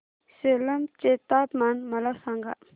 सेलम चे तापमान मला सांगा